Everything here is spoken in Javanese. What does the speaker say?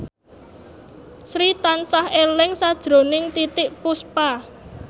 Sri tansah eling sakjroning Titiek Puspa